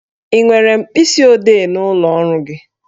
Ị nwere mkpịsi odee n'ụlọ ọrụ gị?